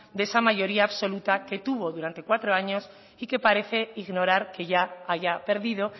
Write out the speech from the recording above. del esa mayoría absoluta que tuvo durante cuatro años y que parece ignorar que ya haya perdido